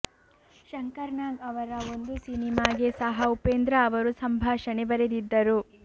ಶಂಕರ್ ನಾಗ್ ಅವರ ಒಂದು ಸಿನಿಮಾಗೆ ಸಹ ಉಪೇಂದ್ರ ಅವರು ಸಂಭಾಷಣೆ ಬರೆದಿದ್ದರು